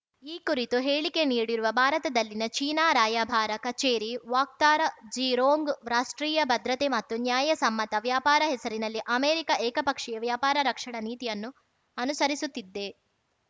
ಈ ಕುರಿತು ಹೇಳಿಕೆ ನೀಡಿರುವ ಭಾರತದಲ್ಲಿನ ಚೀನಾ ರಾಯಭಾರ ಕಚೇರಿ ವಕ್ತಾರ ಜೀ ರೋಂಗ್‌ ರಾಷ್ಟ್ರೀಯ ಭದ್ರತೆ ಮತ್ತು ನ್ಯಾಯ ಸಮ್ಮತ ವ್ಯಾಪಾರ ಹೆಸರಿನಲ್ಲಿ ಅಮೆರಿಕ ಏಕಪಕ್ಷೀಯ ವ್ಯಾಪಾರ ರಕ್ಷಣಾ ನೀತಿಯನ್ನು ಅನುಸರಿಸುತ್ತಿದೆ